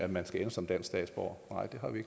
man ende som dansk statsborger